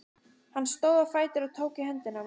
Hann stóð á fætur og tók í höndina á mér.